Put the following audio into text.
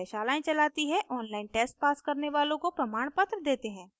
online test pass करने वालों को प्रमाणपत्र देते हैं